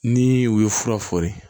Ni u ye fura fɔri